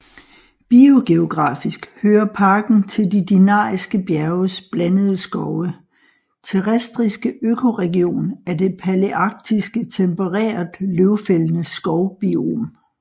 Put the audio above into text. Biogeografisk hører parken til de Dinariske bjerges blandede skove terrestriske økoregion af det palearktiske tempereret løvfældende skov biom